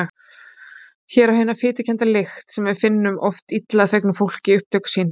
Hér á hin fitukennda lykt sem við finnum oft af illa þvegnu fólki upptök sín!